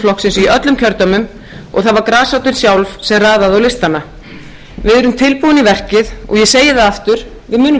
flokksins í öllum kjördæmum og það var grasrótin sjálf sem raðaði á listana við erum tilbúin í verkið og ég segi það aftur við munum klára